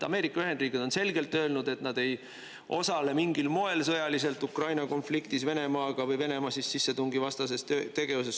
Ameerika Ühendriigid on selgelt öelnud, et nad ei osale mingil moel sõjaliselt Ukraina konfliktis Venemaaga või Venemaa sissetungivastases tegevuses.